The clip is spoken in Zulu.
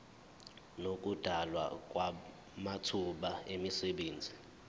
nokudalwa kwamathuba emisebenzi